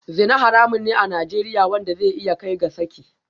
Zina haramun ne a Najeriya wanda zai iya kai ga saki